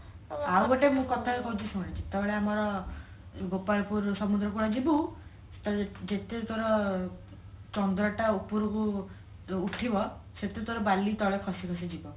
ଆଉ ଗୋଟେ ମୁଁ କଥା କହୁଛି ଶୁଣେ ଯେତେବେଳେ ଆମର ଗୋପାଳପୁର ସମୁଦ୍ରକୁଳ ଯିବୁ ଯେତେ ତୋର ଚନ୍ଦ୍ରଟା ଉପରକୁ ଉଠିବ ସେତେ ତୋର ବଳି ତଳେ ଖସି ଖସି ଯିବ